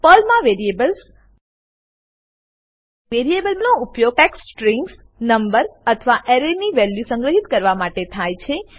પર્લમાં વેરીએબલસ160 વેરીએબનો ઉપયોગ ટેક્સ્ટ સ્ટ્રીંગસનંબર અથવા અરેની વેલ્યુ સંગ્રહિત કરવા માટે થાય છે